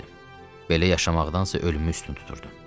Belə yaşamaqdansa ölümü üstün tuturdum.